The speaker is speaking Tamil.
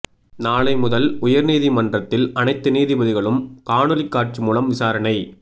நாளை முதல் உயா்நீதிமன்றத்தில் அனைத்து நீதிபதிகளும் காணொலிக் காட்சி மூலம் விசாரணை